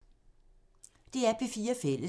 DR P4 Fælles